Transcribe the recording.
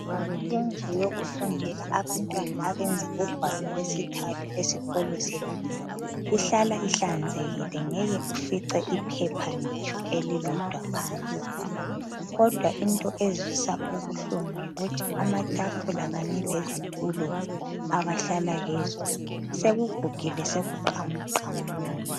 Indlu yokufundela abantwana abenza ugwalo lwesithathu esikolo sethu ihlala ihlanzekile ngeke ufice iphepha ngitsho elilodwa phansi. Kodwa into ezwisa ubuhlungu yikuthi amatafula kanye lezitulo abahlala sekugugile sekuqamuqamuka.